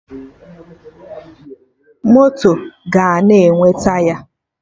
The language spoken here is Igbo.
Moto ga na-enwe Taya